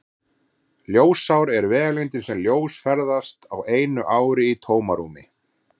Ljósár er vegalengdin sem ljós ferðast á einu ári í tómarúmi.